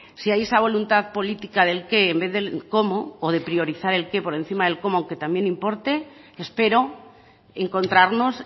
si hay esa voluntad política del qué en vez del cómo o de priorizar el qué por encima del cómo aunque también importe espero encontrarnos